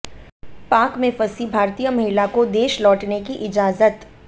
पाक में फंसी भारतीय महिला को देश लौटने की इजाजत